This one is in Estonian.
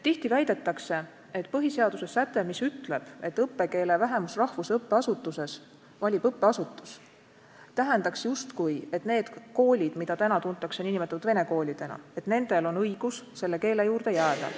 Tihti väidetakse, et põhiseaduse säte, mis ütleb, et õppekeele vähemusrahvuse õppeasutuses valib õppeasutus, tähendab justkui, et nendel koolidel, mida me nimetame vene koolideks, on õigus selle keele juurde jääda.